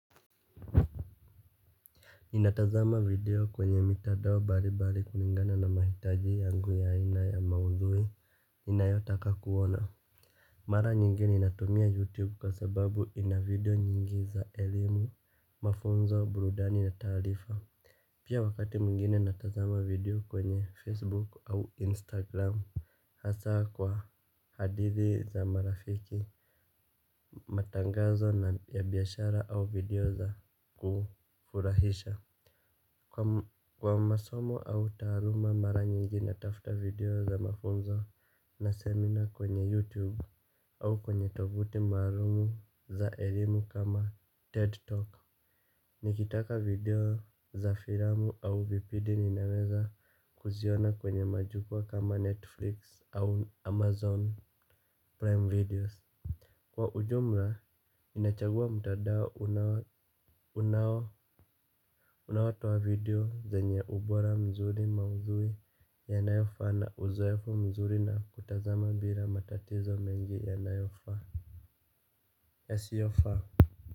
Ninatazama video kwenye mitandao mbalimbali kulingana na mahitaji yangu ya aina ya maudhui ninayotaka kuona. Mara nyingine ninatumia youtube kwabsababu ina video nyingi za elimu, mafunzo, burudani na taarifa. Pia wakati mwingine natazama video kwenye facebook au instagram hasa kwa hadithi za marafiki matangazo na ya biashara au video za kufurahisha. Kwa masomo au taaluma, mara nyingi natafuta video za mafunzo na seminar kwenye YouTube au kwenye tovuti maalumu za elimu kama TED Talk. Nikitaka video za filamu au vipidi ninaweza kuziona kwenye majukwa kama Netflix au Amazon Prime Videos. Kwa ujumla, ninachagua mtandao unao unaotoa video zenye ubora mzuri, maudhui yanayofaa na uzoefu mzuri na kutazama bila matatizo mengi yanayofaa, yasiyofaa.